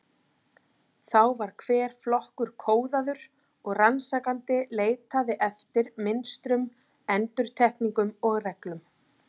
Þá var hver flokkur kóðaður og rannsakandi leitaði eftir, mynstrum, endurtekningum og reglum.